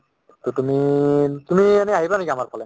to তুমি তুমি এনে আহিবা নেকি আমাৰফালে